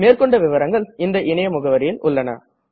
மேற்கொண்டு விவரங்கள் இந்த இணைய முகவரியில் உள்ளது